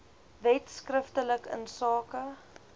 wet skriftelik insake